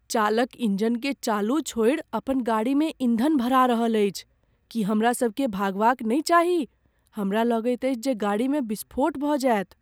चालक इंजनकेँ चालू छोड़ि अपन गाड़ीमे ईंधन भरा रहल अछि। की हमरा सभकेँ भागबा क नहि चाही? हमरा लगैत अछि जे गाड़ीमे विस्फोट भऽ जायत।